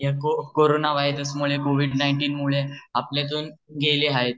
ह्या corona virus मुळे COVID nineteen मुळे आपल्यातून गेले आहेत.